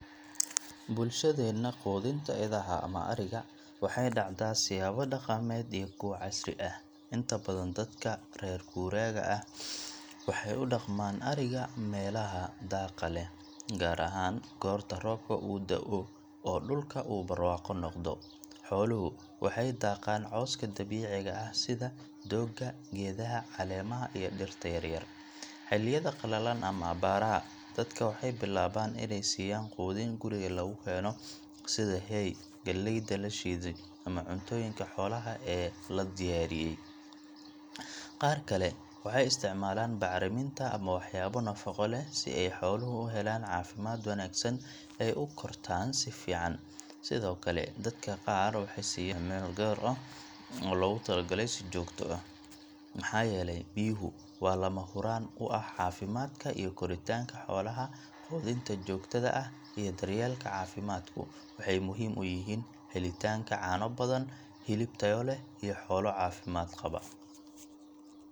Waa muhiim in laga qeyb qaato ka saarista biyaha fatahaadda ee beerta sababtoo ah biyaha ku raaga dhulka waxay sababi karaan dhibaatooyin badan. Marka hore, biyaha taagan waxay waxyeello u geysan karaan dalagyada maadaama xididdada dhirta ay neefsan waayaan, taasoo keeneysa in dalaggu uu dhinto ama tayo xumo yeesho. Marka labaad, biyaha badan waxay keeni karaan faafidda cudurro ay keento bakteeriyada iyo fangas-ku, taas oo sii dhibaateyn karta beeraleyda. Sidoo kale, haddii aan si degdeg ah loo saarin biyaha, ciiddu way daciifaysaa, wax soo saarkeedana wuu hoos u dhacaa. Fatahaaddu waxay sidoo kale sababi kartaa nabaad guur iyo wasakhda biyaha, taasoo dhaawac ku keeni karta deegaanka guud ahaan. Ka qeyb qaadashada hawshan waxay ilaalinaysaa beerta, waxayna ka qeyb qaadanaysaa horumarinta wax soo saarka beeraha iyo badbaadada cunnada ee bulshada. Ugu dambeyn, iskaashiga bulshada ee ka saarista biyaha fatahaadda waa muhim, maxaa yeelay waxey muujinaysaa wadajir iyo daryeelka deegaanka oo ka mid ah mas’uuliyadaha muwaadinka wanaagsan.